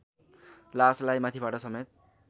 लासलाई माथिबाट समेत